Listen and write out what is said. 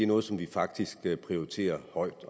noget som de faktisk prioriterer højt